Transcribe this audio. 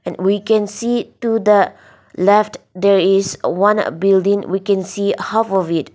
and we can see to the left there is one building we can see half of it.